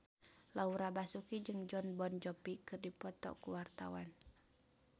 Laura Basuki jeung Jon Bon Jovi keur dipoto ku wartawan